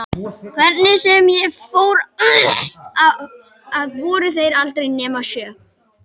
Hvernig sem ég fór að voru þær aldrei nema sjö.